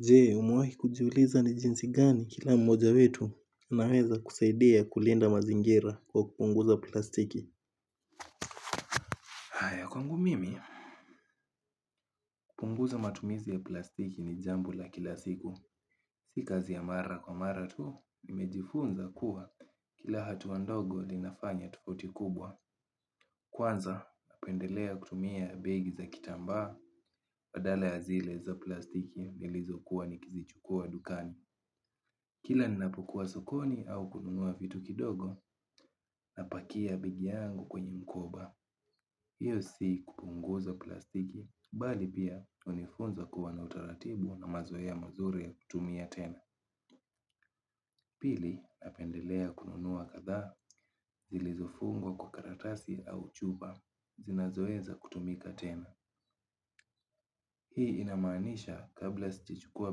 Je umewahi kujiuliza ni jinsi gani kila mmoja wetu anaweza kusaidia kulinda mazingira kwa kupunguza plastiki haya kwangu mimi kupunguza matumizi ya plastiki ni jambo la kila siku. Si kazi ya mara kwa mara tu. Nimejifunza kuwa kila hatu wa ndogo linafanya tofauti kubwa kwanza hupenda kutia begi za kitamba baadala ya zile za plastiki ya nilizokuwa ni kizichukua dukani. Kila ninapokuwa sokoni au kununua vitu kidogo na pakia begi yangu kwenye mkoba. Hiyo si kupunguza plastiki, bali pia unifunza kuwa na utaratibu na mazoea mazuri ya kutumia tena. Pili, napendelea kununuwa kadhaa, zilizofungwa kwa karatasi au chupa, zinazoweza kutumika tena. Hii inamanisha kabla sijachukua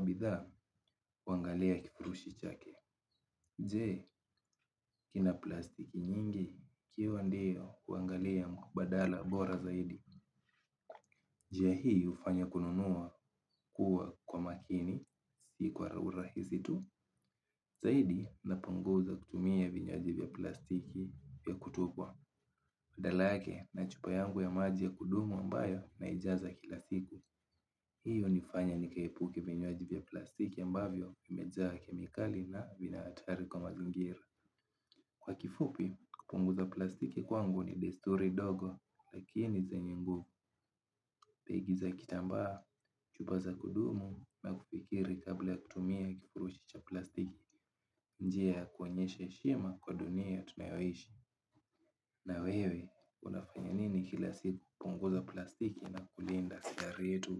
bidhaa, huangalia kifurushi chake. Je, kina plastiki nyingi, ikiwa ndiyo huangalia mkubadala bora zaidi. Je, hii ufanya kununua kuwa kwa makini, si kwa urahisi tu. Zaidi, napunguza kutumia vinywaji vya plastiki vya kutupwa. Badala yake, na chupa yangu ya maji ya kudumu ambayo naijaza kila siku. Hiyo nifanya nikaepuke vinywaji vya plastiki ambavyo imejaa kemikali na vina hatari kwa mazingira. Kwa kifupi, kupunguza plastiki kwangu ni desturi dogo lakini zenye nguvu begi za kitamba, chupa za kudumu na kufikiri kabla kutumia kifurushi cha plastiki njia ya kuonyesha heshima kwa dunia tunayoishi. Na wewe, unafanya nini kila siku kupunguza plastiki na kulinda ziara letu?